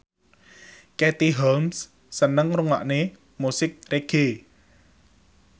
Katie Holmes seneng ngrungokne musik reggae